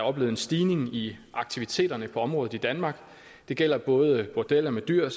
oplevet en stigning i aktiviteterne på området i danmark det gælder både bordeller med dyr